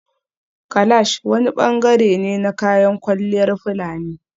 Kalash wani bangare ne na kayan kwalliyar fulani